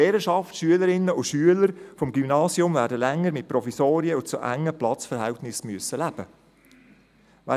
Die Lehrerschaft und die Schülerinnen und Schüler des Gymnasiums werden länger mit Provisorien und mit zu engen Platzverhältnissen leben müssen.